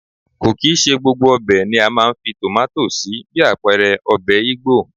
Kò kì í ṣe gbogbo ọbẹ̀ ni a máa ń fi tomato sí bí àpẹẹrẹ ọbẹ̀ Igbo.